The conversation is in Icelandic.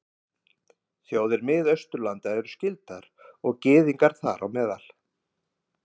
Þjóðir Miðausturlanda eru skyldar, og gyðingar þar á meðal.